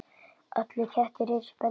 Allir kettir eru spendýr